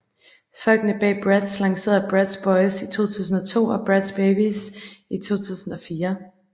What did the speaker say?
Folkene bag Bratz lancerede Bratz Boyz i 2002 og Bratz Babyz i 2004